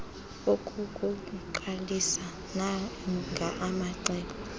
ukukuqalisa nanga amacebo